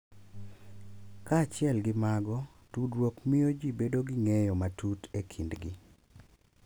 Kaachiel gi mago, tudruok miyo ji bedo gi ng’eyo matut e kindgi, .